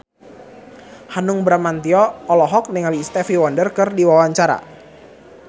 Hanung Bramantyo olohok ningali Stevie Wonder keur diwawancara